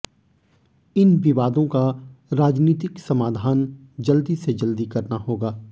इन विवादों का राजनीतिक समाधान जल्दी से जल्दी करना होगा